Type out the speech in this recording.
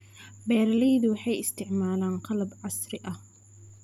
Beeraleydu waxay isticmaalaan qalab casri ah.